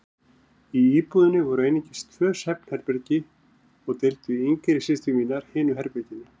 Í íbúðinni voru einungis tvö svefnherbergi og deildu yngri systur mínar hinu herberginu.